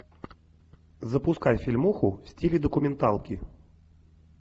запускай фильмуху в стиле документалки